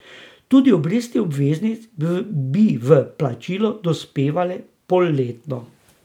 Tudi obresti obveznic bi v plačilo dospevale polletno.